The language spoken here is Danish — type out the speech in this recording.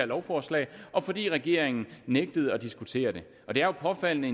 lovforslag og fordi regeringen nægtede at diskutere det og det er jo påfaldende at